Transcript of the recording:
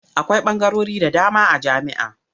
Akwai ɓangarori da dama a jami'a.